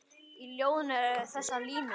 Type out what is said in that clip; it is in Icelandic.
Í ljóðinu eru þessar línur